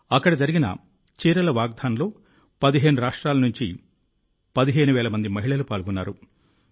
అక్కడ జరిగిన చీరల వాకథాన్లో 15 రాష్ట్రాల నుంచి 15000 మంది మహిళలు పాల్గొన్నారు